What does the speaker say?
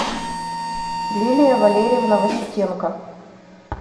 лилия валерьевна васютенко